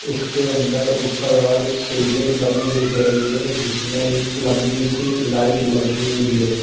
इसके अंदर ऊपर वाल सीलिंग बनी दिख रही है जिसमें एक लंबी सी लाइट लगी हुई है।